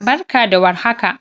Barka da warhaka!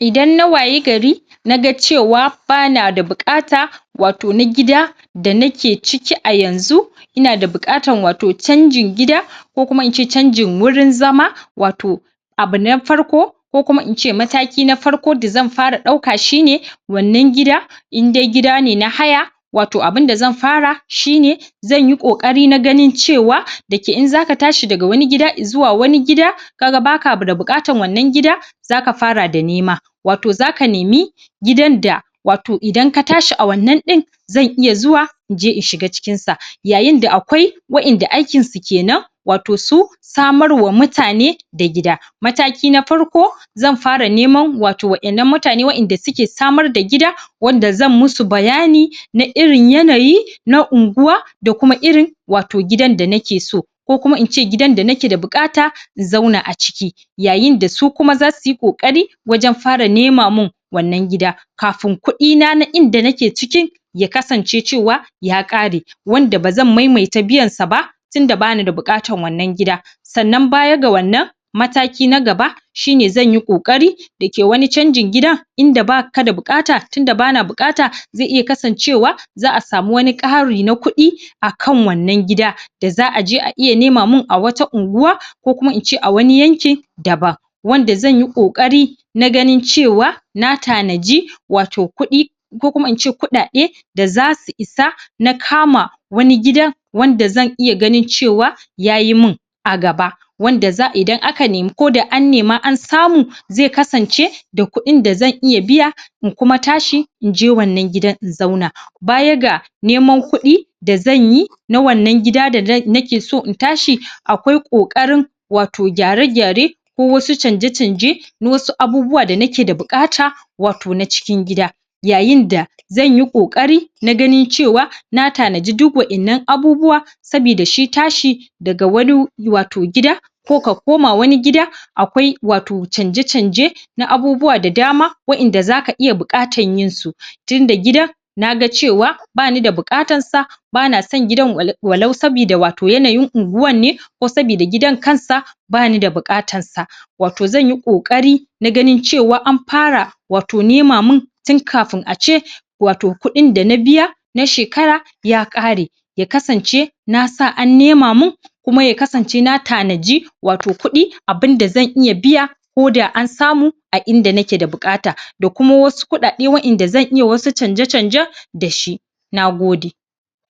Idan na wayi gari na ga ce wa ba na da buƙata wato na gida da ni ne a cikia yanzu ina da buƙatar wato canjin gida ko kuma in ce canjin wurin zama wato abu na farko ko kuma in ce mataki na farko da zan fara ɗauka shine wannan gida inde gida ne na haya wato abinda zan fara shi ne zan yi ƙoƙari na ganin ce wa dayake in za ka tashi daga wani gida zuwa wani gida ka ga baka da buƙatar wannan gida za ka fara da nema wato za ka nemi gidan da wato ida ka tashi a wannan ɗin zan iya zuwa in je in shiga cikin sa. Yayin da akwai waɗanda aikinsu kenan wato su samar wa mutane da gida. Mataki na farko zan fara neman wato waɗannan mutane waɗanda da suke samar da gida wanda zan ma su bayani na irin yanayi na unguwa da kuma irin wato gidan da ni ke so, ko kuma in ce gidan da ni ke da buƙata in zauna a ciki, yayin da su kuma za su yi ƙoƙari wajen fara nema min wannan gida, kafin kuɗina na inda ni ke ciki ya kasance cewa ya ƙare, wanda ba zan maimaita biyan sa ba tunda ba ni da buƙatar wannan gida, sannan baya ga wannan mataki na gaba shine zan yi ƙoƙari da ke wani canjin gida inda ba ka da buƙata tunda ba ni da buƙata zai iya kasancewa za'a samu wani ƙari na kuɗi akan wannan gida da za'a je a iya nema min a wata unguwa ko kuma ince a wani yanki daban wanda zan yi ƙoƙari na ganin ce wa na tanadi wato kuɗi ko kuma in ce kuɗaɗe da za su isa na kama wani gida wanda zan iya ganin ce wa ya yi min a gaba, wanda idan aka neme koda an nema an samu zai kasance da kuɗin da zan iya biya in kuma tashi in je wannan gidan in zauna, baya ga neman kuɗi da zan yi na wannan gida da ni ke so in tashi akwai ƙoƙarin wato gyare-gyare, ko wasu canje-canje na wasu abubuwa da ni ke da buƙata wato na cikin gida, yayin da zan yi ƙoƙari na ganin ce wa na tanadi duk waɗannan abubuwa saboda shi tashi daga wani wato gida, ko ka koma wani gida akwai wato canje-canje na abubuwa da dama waɗanda za ka iya buƙatar yin su,? tunda gida na ga ce wa ba nida buƙatar sa ba na son gidan walau saboda wato yanayin unguwar ne ko saboda gidan kansa ba ni da buƙatar sa wato zan yi ƙoƙari na ganin ce an fara wato nema min tun kafin a ce wato kuɗin da na biya na shekara ya ƙare, ya kasance na sa an nema min, kuma ya kasance na tanadi wato kuɗi abinda zan iya biya koda an samu a inda ni ke da buƙata, da kuma wasu kuɗaɗe da zan iya wasu canje-canje da shi. Na gode.